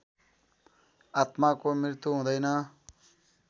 आत्माको मृत्यु हुँदैन।